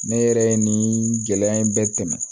Ne yɛrɛ ye nin gɛlɛya in bɛɛ tɛmɛ